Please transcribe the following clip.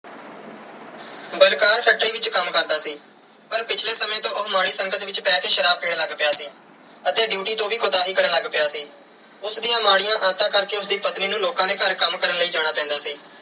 Balkar factory ਵਿੱਚ ਕੰਮ ਕਰਦਾ ਸੀ ਪਰ ਪਿਛਲੇ ਸਮੇਂ ਤੋਂ ਉਹ ਮਾੜੀ ਸੰਗਤ ਵਿੱਚ ਪੈ ਕੇ ਸ਼ਰਾਬ ਪੀਣ ਲੱਗ ਪਿਆ ਸੀ ਅਤੇ ਡਿਊਟੀ ਤੋਂ ਵੀ ਕੁਤਾਹੀ ਕਰਨ ਲੱਗ ਪਿਆ ਸੀ। ਉਸ ਦੀਆਂ ਮਾੜੀਆਂ ਆਦਤਾਂ ਕਰਕੇ ਉਸ ਦੀ ਪਤਨੀ ਨੂੰ ਲੋਕਾਂ ਦੇ ਘਰ ਕੰਮ ਕਰਨ ਲਈ ਜਾਣਾ ਪੈਂਦਾ ਸੀ।